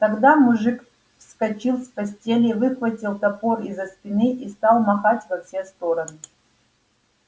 тогда мужик вскочил с постели выхватил топор из-за спины и стал махать во все стороны